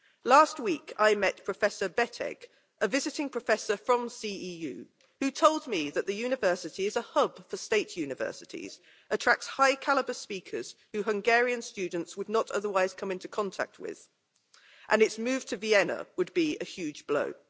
Last week I met Professor Betegh, a visiting professor from the CEU, who told me that the university is a hub for state universities and attracts high calibre speakers who Hungarian students would not otherwise come into contact with, and that its move to Vienna would be a huge blow.